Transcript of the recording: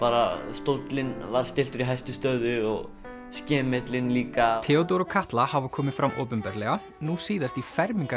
stóllinn var stilltur í hæstu stöðu og líka Theódór og Katla hafa komið fram opinberlega nú síðast í